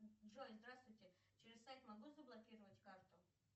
джой здравствуйте через сайт могу заблокировать карту